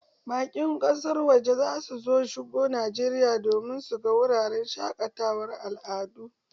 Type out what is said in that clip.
Bakin ƙasar waje za su shigo Najeriya domin su ga wuraren shaƙatawar al'adu.